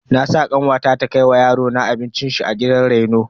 Na sa kanwata ta kai wa yarona abincin shi a gidan reno.